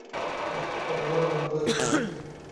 обзор андроид игр